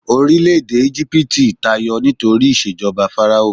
orilẹ ede ijipiti tayọ nitori ìṣèjọba fáráò